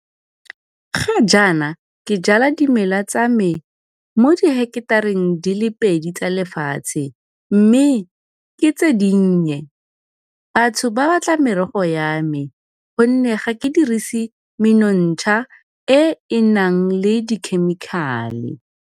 Ga jaana ke jala dimela tsa me mo diheketareng di le pedi tsa lefatshe mme ke tse dinnye. Batho ba batla merogo ya me gonne ga ke dirise menontsha e e nang le dikhemikhale.